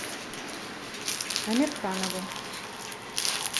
амирханову